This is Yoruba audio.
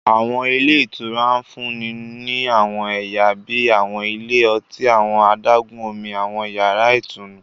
Àwọn ilé ìtura ń fún ni àwọn ẹyà bíi àwọn ilé ọtí, àwọn adágún-Omi, àwọn yàrá ìtùnú